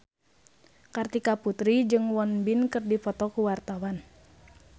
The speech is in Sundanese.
Kartika Putri jeung Won Bin keur dipoto ku wartawan